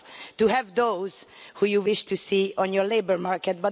to help those who you wish to see on your labour market.